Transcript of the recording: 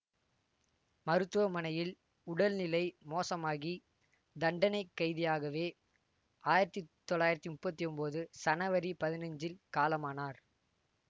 மருத்துவமனையில் உடல் நிலை மோசமாகி தண்டனைக் கைதியாகவே ஆயிரத்தி தொள்ளாயிரத்தி முப்பத்தி ஒன்போது சனவரி பதினஞ்சில் காலமானார்